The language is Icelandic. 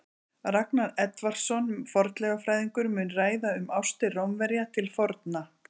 Ragnar Edvardsson, fornleifafræðingur, mun ræða um ástir Rómverja til forna.